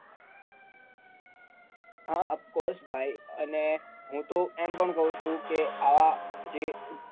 હા ofcours ભાઈ અને હું તો એમ પણ કહું છુ કે આ જે